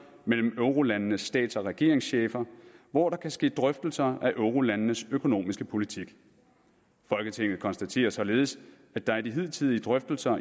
mellem eurolandenes stats og regeringschefer hvor der kan ske drøftelser af eurolandenes økonomiske politik folketinget konstaterer således at der i de hidtidige drøftelser